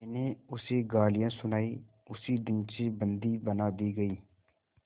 मैंने उसे गालियाँ सुनाई उसी दिन से बंदी बना दी गई